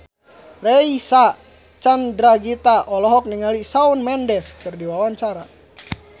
Reysa Chandragitta olohok ningali Shawn Mendes keur diwawancara